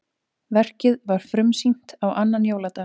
Verkið var frumsýnt á annan jóladag